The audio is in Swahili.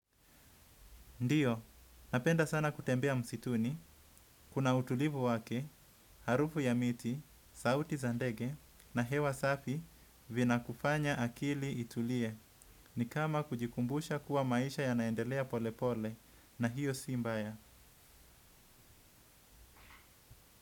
Ndiyo, napenda sana kutembea msituni, kuna utulivu wake, harufu ya miti, sauti za ndege na hewa safi vibakufanya akili itulie ni kama kujikumbusha kuwa maisha yanaendelea pole pole na iyo si mbaya.